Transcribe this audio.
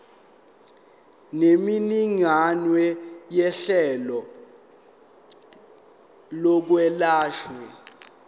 nemininingwane yohlelo lokwelashwa